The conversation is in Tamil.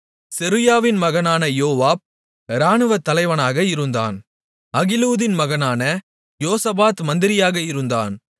செருயாவின் மகனான யோவாப் இராணுவத்தலைவனாக இருந்தான் அகிலூதின் மகனான யோசபாத் மந்திரியாக இருந்தான்